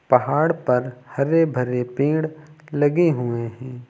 पहाड़ पर हरे भरे पेड़ लगे हुए हैं।